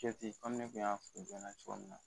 kɛji komin u kun y'a f'i ye cogo min na